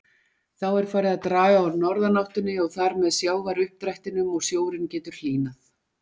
Þá er farið að draga úr norðanáttinni og þar með sjávaruppdrættinum og sjórinn getur hlýnað.